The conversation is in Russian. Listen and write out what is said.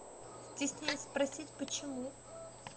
стесняюсь спросить почему